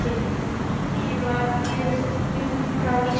Mímir var guð djúprar visku.